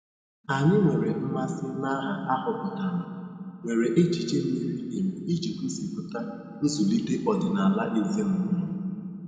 Anyị nwere mmasị na aha ahọpụtara nwere echiche miri emi iji gosipụta nzulite ọdịnala ezinaụlọ.